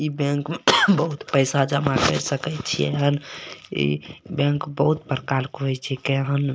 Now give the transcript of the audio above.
इ बैंक में बहुत पैसा जमा कर सकय छियें इ बैंक बहुत बड़का लुखन होय छै।